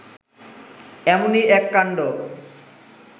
এমনই এক কাণ্ড